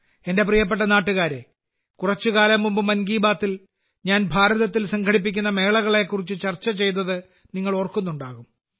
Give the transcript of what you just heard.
എന്റെ പ്രിയപ്പെട്ട നാട്ടുകാരെ കുറച്ചുകാലം മുമ്പ് മൻ കി ബാത്തിൽ ഞാൻ ഭാരതത്തിൽ സംഘടിപ്പിക്കുന്ന മേളകളെകുറിച്ച് ചർച്ച ചെയ്തത് നിങ്ങൾ ഓർക്കുന്നുണ്ടാകും